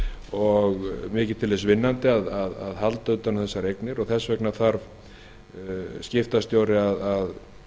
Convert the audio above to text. og mikið til þess vinnandi að halda utan um þessar eignir og þess vegna þarf skiptastjóri að